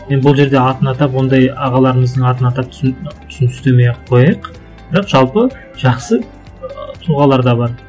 енді бұл жерде атын атап ондай ағаларымыздың атын атап түсін түстемей ақ қояйық бірақ жалпы жақсы ы тұлғалар да бар